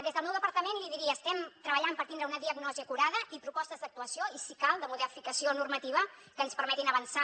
des del meu departament li diria que estem treballant per tindre una diagnosi acurada i propostes d’actuació i si cal de modificació normativa que ens permetin avançar